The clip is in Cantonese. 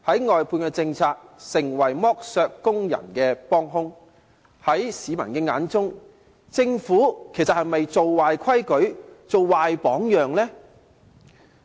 外判政策成為剝削工人的幫兇，在市民的眼中，其實政府是否建立了壞規矩、樹立了壞榜樣呢？